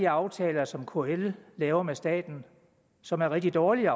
aftaler som kl laver med staten som er rigtig dårlige